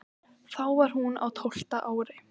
Þá var hún á tólfta ári.